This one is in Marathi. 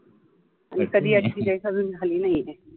मी कधी अशी जैश खाल्ली नाही